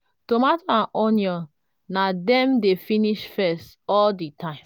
tomato and onion na them dey finish first all the time.